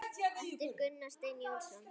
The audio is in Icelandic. eftir Gunnar Stein Jónsson